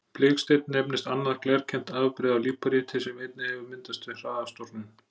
Biksteinn nefnist annað glerkennt afbrigði af líparíti sem einnig hefur myndast við hraða storknun.